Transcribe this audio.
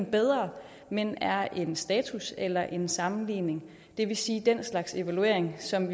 bedre men er en status eller en sammenligning det vil sige den slags evaluering som